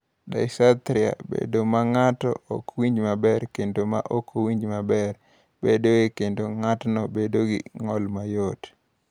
"Dysarthria (bedo ma ng’ato ok winjo maber kendo ma ok winjo maber) bedoe, kendo ng’atno bedo gi ng’ol mayot."